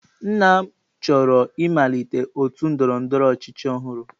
Nna m chọrọ ịmalite otu ndọrọ ndọrọ ọchịchị ọhụrụ.